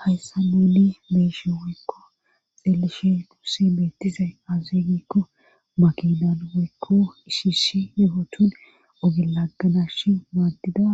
hayssn nuun beeshe woykko xeelishe duusse beettizay azze giikko makidan woykko ishishi yehotun ogelaganash maaddida